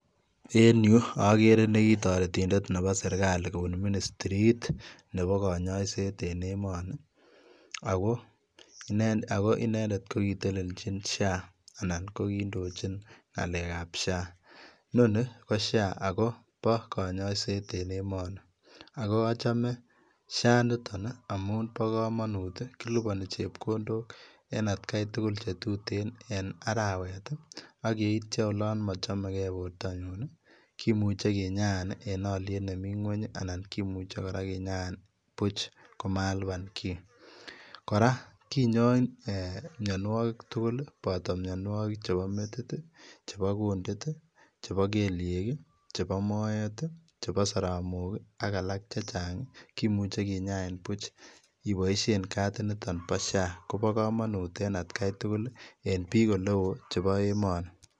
En Yuu agere nekitaretindeet nebo serikali kobuun ministriit nebo kanyaiseet en emanii ago inendet ko kiteleljiin []SHA[]anan ko kindochiin ngalek ab [] SHA[] inoni ko []SHA[] ako bo kanyaiseet en emanii ago achame []SHA[] initoon ii ngamuun kilupani chepkondook en kat tugul che tuteen en araweet ii ak yeityaa olaan machamekei bortangung kimuchei kinyain en aliet nemii ngweeny anan kimuchei kora kinyaan buuch komalupaan kiy kora kinyain mianwagik tugul kobataa mianwagik che metit ii chebo ngelyeek ii anan ko moet ii chebo saramook ii ak alaak chechaang kimuchei kinyain buuch ibaisheen katit nitoon bo []SHA[] ko bo kamanut en at tugul ii en biik ole wooh chebo emanii.